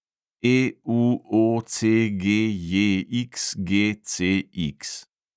EUOCGJXGCX